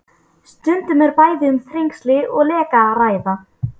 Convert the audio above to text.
Stundum er bæði um þrengsli og leka að ræða.